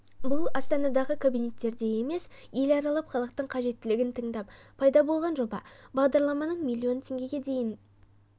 бұл астанадағы кабинеттерде емес ел аралап халықтың қажеттілігін тыңдап пайда болған жоба бағдарламаның миллион теңгеге дейін